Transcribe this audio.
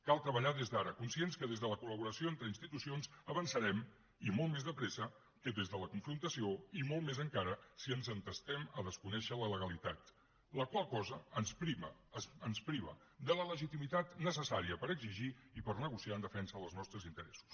cal treballar des d’ara conscients que des de la col·laboració entre institucions avançarem i molt més de pressa que des de la confrontació i molt més encara si ens entestem a desconèixer la legalitat la qual cosa ens priva de la legitimitat necessària per exigir i per negociar en defensa dels nostres interessos